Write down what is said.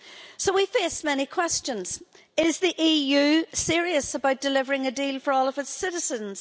So we face many questions. Is the EU serious about delivering a deal for all of its citizens?